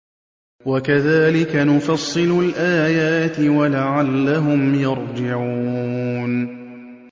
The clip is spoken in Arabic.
وَكَذَٰلِكَ نُفَصِّلُ الْآيَاتِ وَلَعَلَّهُمْ يَرْجِعُونَ